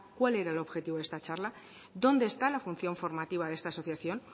cuál era el objetivo de esta charla dónde está la función formativa de esta asociación